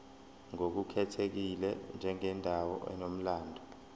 ngokukhethekile njengendawo enomlando